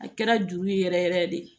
A kɛra juru yɛrɛ yɛrɛ de ye